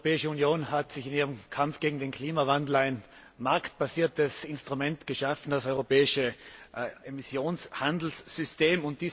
Die Europäische Union hat sich in ihrem Kampf gegen den Klimawandel ein marktbasiertes Instrument geschaffen das europäische Emissionshandelssystem.